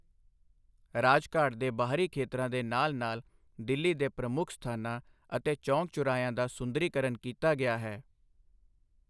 ਰਾਜਘਾਟ ਦੇ ਬਾਹਰੀ ਖੇਤਰਾਂ ਦੇ ਨਾਲ ਨਾਲ ਦਿੱਲੀ ਦੇ ਪ੍ਰਮੁੱਖ ਸਥਾਨਾਂ ਅਤੇ ਚੌਕ ਚੌਰਾਹਿਆਂ ਦਾ ਸੁੰਦਰੀਕਰਨ ਕੀਤਾ ਗਿਆ ਹੈ।